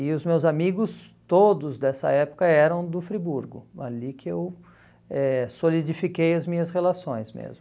E os meus amigos todos dessa época eram do Friburgo, ali que eu eh solidifiquei as minhas relações mesmo.